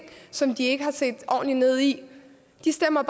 som de ikke har set ordentligt ned i de stemmer